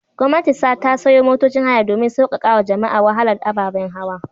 Gwamnati ta sayo motocin haya domin sauƙaƙawa jama'a wahalar ababen hawa.